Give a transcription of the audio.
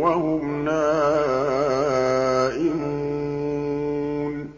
وَهُمْ نَائِمُونَ